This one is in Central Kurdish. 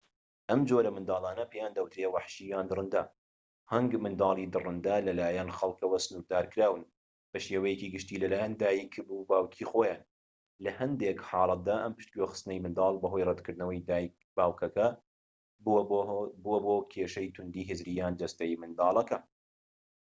ئەم جۆرە منداڵانە پێیان دەوترێت وەحشی یان دڕەندە. هەنگ منداڵی دڕندە لە لایەن خەڵکەوە سنوردارکراون بە شێوەیەکی گشتى لە لایەن دایک/باوکی خۆیان؛ لە هەندێک حاڵەتدا ئەم پشگوێخستنەی منداڵ بەهۆی ڕەتکردنەوەی دایک/باوکەکە بووە بۆ کێشەی تووندی هزریی یان جەستەیی منداڵەکە